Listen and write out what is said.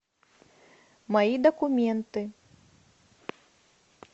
мои документы